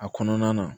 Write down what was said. A kɔnɔna na